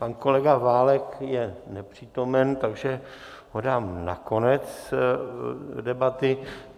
Pan kolega Válek je nepřítomen, takže ho dám na konec debaty.